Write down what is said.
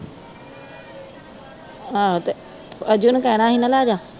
ਆਹੋ ਤੇ ਅਜੂ ਨੂੰ ਕਹਿਣਾ ਸੀ ਨਾ ਲਾ ਜਾ